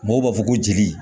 Mɔgɔw b'a fɔ ko jeli